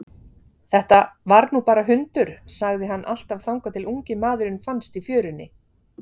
Þetta var nú bara hundur, sagði hann alltaf þangað til ungi maðurinn fannst í fjörunni.